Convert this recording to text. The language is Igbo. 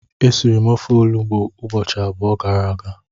esiri m ofe olugbu ubochi abuo gara aga.